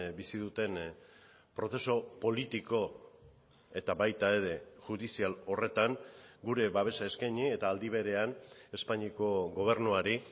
bizi duten prozesu politiko eta baita ere judizial horretan gure babesa eskaini eta aldi berean espainiako gobernuari